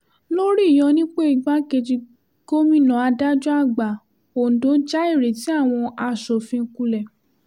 lórí ìyọnipo igbákejì gómìnà adájọ́-àgbà ọ̀ǹdọ́ já ìrètí àwọn asòfin kulẹ̀